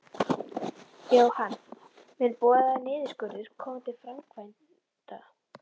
Jóhann: Mun boðaður niðurskurður koma til framkvæmda?